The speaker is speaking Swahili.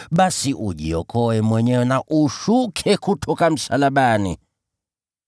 basi shuka kutoka msalabani na ujiokoe mwenyewe!”